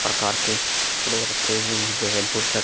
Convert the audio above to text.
प्रकार के कपड़े रखे हुए हैं जैसे बुरस्त --